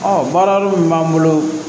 baara min b'an bolo